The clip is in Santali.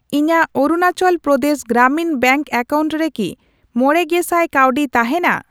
ᱤᱧᱟᱜ ᱚᱨᱩᱱᱟᱪᱚᱞ ᱯᱨᱚᱫᱮᱥ ᱜᱨᱟᱢᱤᱱ ᱵᱮᱝᱠ ᱮᱠᱟᱣᱩᱱᱴ ᱨᱮ ᱠᱤ ᱢᱚᱲᱮᱜᱮᱥᱟᱭ ᱠᱟᱹᱣᱰᱤ ᱛᱟᱦᱮᱱᱟ ?